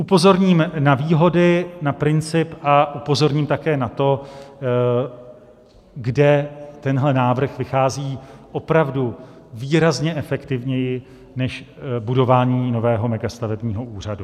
Upozorním na výhody, na princip a upozorním také na to, kde tenhle návrh vychází opravdu výrazně efektivněji než budování nového megastavebního úřadu.